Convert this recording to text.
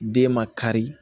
Den ma kari